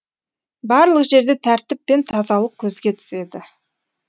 барлық жерде тәртіп пен тазалық көзге түседі